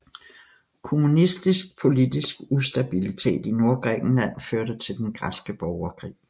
Kommunistisk politisk ustabilitet i Nordgrækenland førte til Den græske borgerkrig